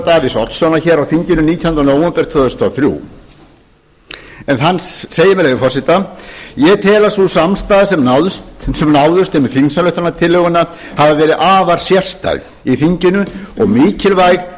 davíðs oddssonar á þinginu nítjánda nóvember tvö þúsund og þrjú en hann segir með leyfi forseta ég tel að sú samstaða sem náðist um þingsályktunartillöguna hafi verið afar sérstæð í þinginu og mikilvæg